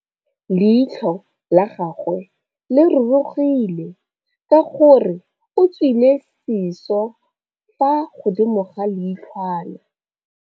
Leitlhô la gagwe le rurugile ka gore o tswile sisô fa godimo ga leitlhwana.